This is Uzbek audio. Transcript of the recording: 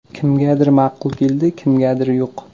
Kimgadir ma’qul keldi, kimgadir yo‘q.